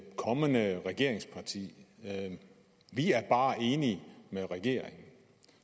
kommende regeringsparti vi er bare enige med regeringen